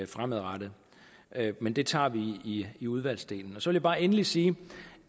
fremadrettet men det tager vi i i udvalgsarbejdet så vil jeg bare endelig sige